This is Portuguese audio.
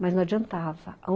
Mas não adiantava.